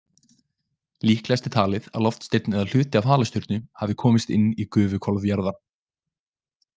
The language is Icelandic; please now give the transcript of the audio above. Líklegast er talið að loftsteinn eða hluti af halastjörnu hafi komist inn í gufuhvolf jarðar.